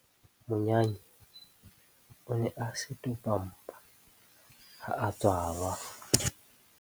Monyane o ne a setopampa ha a tswalwa.